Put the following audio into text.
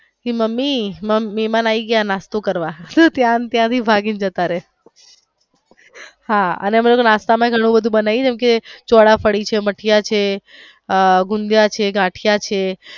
Mummy મેહમાન આવી ગયા નાસ્તા કરવા ત્યાં ને ત્યાં ભાગી ને જતા રયે હા અને અમે લોકો નાસ્તા માં પણ ઘણું બધું બનાવીયે જેમકે ચોરાફરી છે મઠિયા છે ગુંદિયા છે ગાંઠિયા છે.